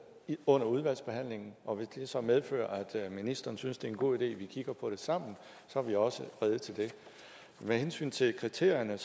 under udvalgsbehandlingen og hvis det så medfører at ministeren synes det er en god idé at vi kigger på det sammen så er vi også rede til det med hensyn til kriterierne